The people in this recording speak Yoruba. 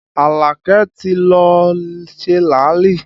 Alake ti lọ ṣe làálì